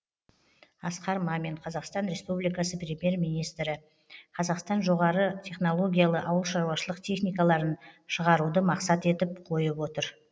асқар мамин қазақстан республикасы премьер министрі қазақстан жоғары технологиялы ауылшаруашылық техникаларын шығаруды мақсат етіп қойып отыр